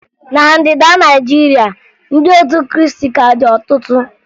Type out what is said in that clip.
Na Ndịda Naịjirịa, ndị otu Krịịstị ka dị ọtụtụ